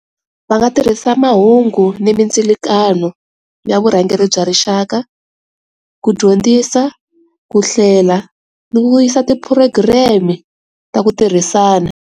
Va nga tirhisa mahungu ni mindzilakanyo ya vurhangeri bya rixaka ku dyondzisa ku hlela ni vuyisa ti-program ta ku tirhisana.